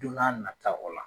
Don n'a nata o la.